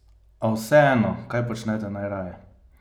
A vseeno, kaj počnete najraje?